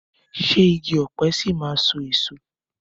Ṣé igi ọ̀pẹ ṣì máa so èso?